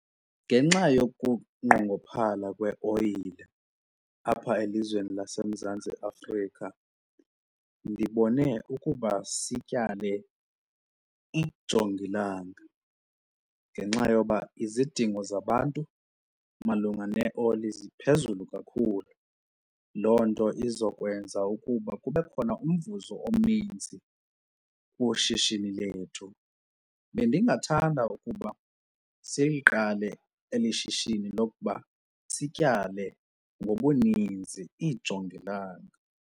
Ngenxa yokungqongophala kweoyile apha elizweni laseMzantsi Afrika ndibone ukuba sityale ijongilanga ngenxa yoba izidingo zabantu malunga neeoli ziphezulu kakhulu, loo nto izokwenza ukuba kube khona umvuzo omninzi kwishishini lethu. Bendingathanda ukuba siliqale eli shishini lokuba sityale ngobuninzi iijongilanga.